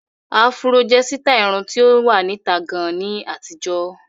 Áfúró jẹ́ sítáì irun tí ó wà níta gan ní àtijọ́.